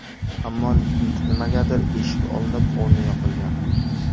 Ammo nimagadir eshik olinib, o‘rni yopilgan.